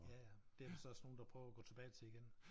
Ja ja det der vist også nogle der prøver at gå tilbage til igen